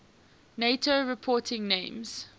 nato reporting names